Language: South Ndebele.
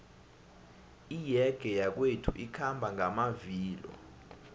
iyege yakwethu ikhamba ngamavilo